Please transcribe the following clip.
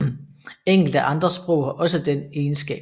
Enkelte andre sprog har også den egenskab